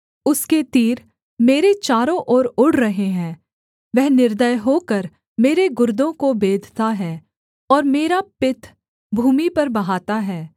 उसके तीर मेरे चारों ओर उड़ रहे हैं वह निर्दय होकर मेरे गुर्दों को बेधता है और मेरा पित्त भूमि पर बहाता है